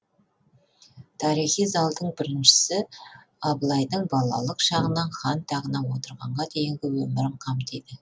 тарихи залдың біріншісі абылайдың балалық шағынан хан тағына отырғанға дейінгі өмірін қамтиды